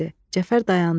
Cəfər dayandı.